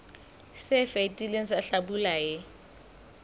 se fetileng sa hlabula e